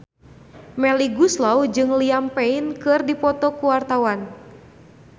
Melly Goeslaw jeung Liam Payne keur dipoto ku wartawan